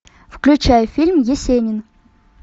включай фильм есенин